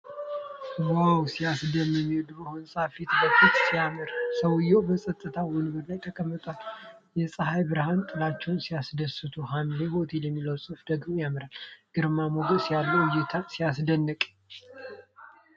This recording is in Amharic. ዋው! ሲያስደምም! የድሮ ሕንፃው ፊት ለፊት ሲያምር! ሰውየው በጸጥታ ወንበር ላይ ተቀምጧል። የፀሐይ ብርሃንና ጥላዎች ሲያስደስቱ! "ሀምሌ ሆቴል" የሚለው ጽሑፍ ደግሞ ያምራል። ግርማ ሞገስ ያለው እይታ! ሲያስደንቅ!